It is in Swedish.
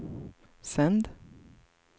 sänd